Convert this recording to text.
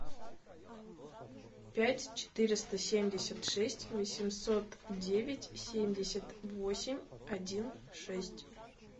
пять четыреста семьдесят шесть восемьсот девять семьдесят восемь один шесть